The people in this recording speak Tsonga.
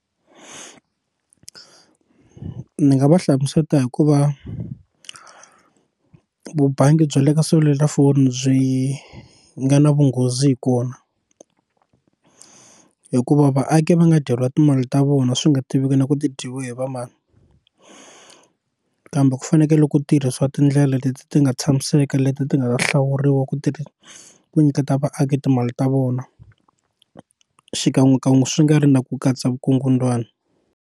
Ni nga va hlamuseta hikuva vubangi bya le ka selulafoni byi nga na vunghozi hi kona hikuva vaaki va nga dyeriwi timali ta vona swi nga tiveki na ku ti dyiwe hi va mani kambe ku fanekele ku tirhisiwa tindlela leti ti nga tshamiseka leti ti nga ta hlawuriwa ku tirha ku nyiketa vaaki timali ta vona xikan'wekan'we swi nga ri na ku katsa vukungundzwani.